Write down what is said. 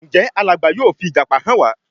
Njé Alàgbà yóò fi ìjàpá hàn wá?